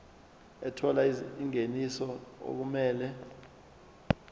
ethola ingeniso okumele